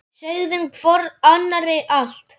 Sögðum hvor annarri allt.